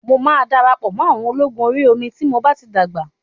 Mo máa darapọ̀ mọ́ àwọn ológun Orí omi tí mo bá ti dàgbà.